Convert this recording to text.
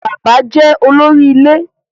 Bàbá jẹ́ olóri ilé.